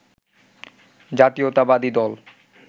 জাতীয়তাবাদী দল